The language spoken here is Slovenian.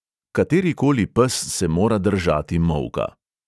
Katerikoli pes se mora držati molka.